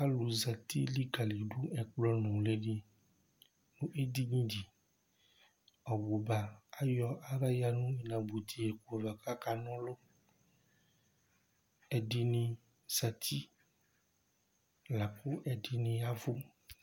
Alu zɛti likalidu ɛkplɔ nʋli di nʋ edini di Obʋba ayɔ aɣla ya nʋ inabʋti ku la kʋ akana ɔlu Ɛdiní zɛti lakʋ ɛdiní yavʋ